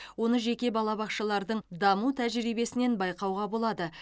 оны жеке балабақшалардың даму тәжірибесінен байқауға болады